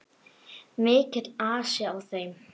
Mikill asi á þeim.